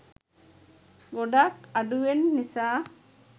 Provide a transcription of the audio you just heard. ගොඩක් අඩුවෙන් නිසා.